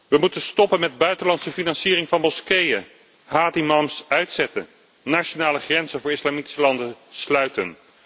We moeten stoppen met de buitenlandse financiering van moskeeën, haatimams uitzetten en de nationale grenzen voor islamitische landen sluiten.